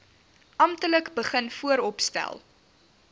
amptelik begin vooropstel